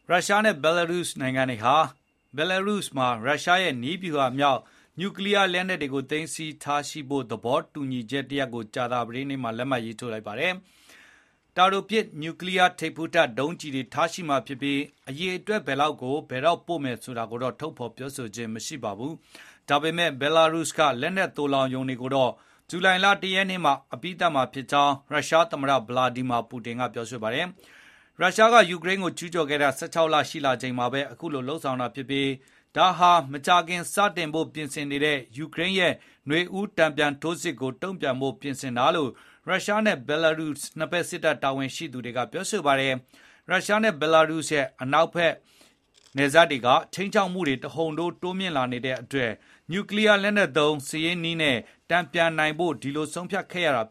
ရုရှားနဲ့ ဘီလာရုစ် နှစ်နိုင်ငံဟာ ဘီလာရုစ်မှာ ရုရှားရဲ့ နည်းဗျူဟာမြောက် နျူကလီးယားလက်နက်တွေကို သိမ်းဆည်းထားရှိမယ့် သဘောတူညီချက် တရပ်ကို ကြာသပတေးနေ့မှာ လက်မှတ်ရေးထိုးလိုက်ပါတယ်။ တာတိုပစ် နျူထိပ်ဖူးတပ် ဒုံးကျည်တွေ ထားရှိမှာဖြစ်ပြီး နျူလက်နက် ဘယ်လောက်များများ အိမ်နီးချင်း ဘီလာရုစ်မှာ ထားမလဲဆိုတာတော့ ထုတ်ပြန်ခြင်း မရှိပါဘူး။ ဒီလက်နက်တွေကို ဘယ်တော့ ပို့မလဲဆိုတာ မကြေညာသေးပေမယ့် ဘီလာရုစ်က သိုလှောင်ရုံတွေဟာ ဇူလိုင် ၁ ရက် မှာ အပြီးသတ်နိုင်မယ်ဖြစ်ကြောင်း ရုရှားသမ္မတ ဗလာဒီမီယာ ပူတင်က ပြောပါတယ်။ ရုရှားက ယူကရိန်းကို ကျူးကျော်ခဲ့တာ ၁၆ လ ရှိလာချိန်မှာပဲ အခုလို သဘောတူခဲ့တာ ဖြစ်ပါတယ်။ ဒါက မကြာခင် စတင်ဖို့ ပြင်ဆင်နေတဲ့ ယူကရိန်းရဲ့ နွေဦး တန်ပြန်ထိုးစစ်ကြီးကို တုံ့ပြန် ပြင်ဆင်တာလို့ ရုရှားနဲ့ ဘီလာရုစ် နှစ်ဖက် စစ်တပ် တာဝန်ရှိသူတွေက ပြောပါတယ်။ “ရုရှားနဲ့ ဘီလာရုစ်ရဲ့ အနောက်ဘက်နယ်စပ်တွေက ခြိမ်းခြောက်မှုတွေ တဟုန်ထိုး တိုးလာနေလို့ နျူကလီးယားလက်နက်သုံး စစ်ရေးနည်းနဲ့ တန်ပြန်နိုင်ဖို့ ဒီလို ဆုံးဖြတ်ခဲ့ရတာ”